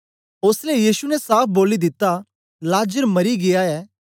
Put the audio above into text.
ओसलै यीशु ने साफ बोली दिता लाजर मरी गीया ऐ